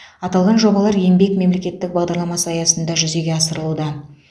аталған жобалар еңбек мемлекеттік бағдарламасы аясында жүзеге асырылуда